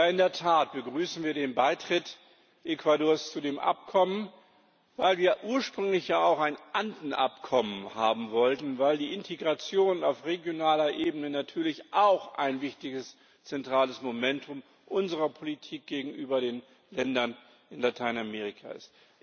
In der Tat begrüßen wir den Beitritt Ecuadors zu dem Abkommen, weil wir ja ursprünglich auch ein Anden Abkommen haben wollten, weil die Integration auf regionaler Ebene natürlich auch ein wichtiges zentrales Momentum unserer Politik gegenüber den Ländern in Lateinamerika ist.